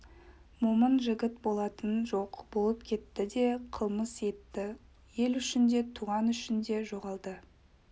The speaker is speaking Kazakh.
момын жігіт болатын жоқ болып кетті де қылмыс етті ел үшін де туғаны үшін де жоғалды